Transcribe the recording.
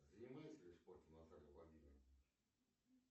занимается ли спортом наталья владимировна